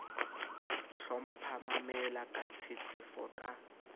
hlompha mamela ka tshetshefo ka